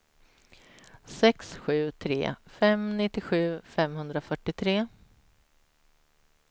sex sju tre fem nittiosju femhundrafyrtiotre